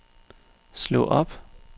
slå op